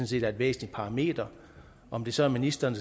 set er et væsentligt parameter om det så er ministeren